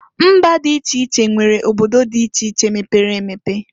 Mba dị iche iche nwere obodo dị iche iche mepere emepe.